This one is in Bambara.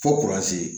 Fo